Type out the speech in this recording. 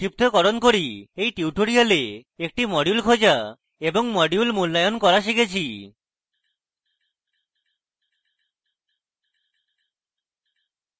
সংক্ষিপ্তকরণ করি এই টিউটোরিয়ালে আমরা একটি module খোঁজা এবং module মূল্যায়ন করা শিখেছে